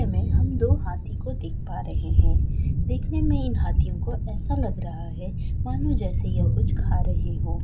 मे हम दो हाथी को देख पा रहे हैं देखने में इन हाथियों को ऐसा लग रहा है मानो जैसे यह कुछ खा रहे हो।